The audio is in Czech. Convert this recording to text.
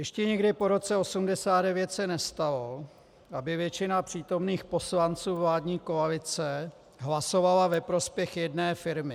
Ještě nikdy po roce 1989 se nestalo, aby většina přítomných poslanců vládní koalice hlasovala ve prospěch jedné firmy.